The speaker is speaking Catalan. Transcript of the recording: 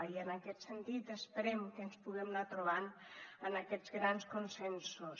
i en aquest sentit esperem que ens puguem anar trobant en aquests grans consensos